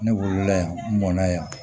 Ne wolola yan nɔn ye yan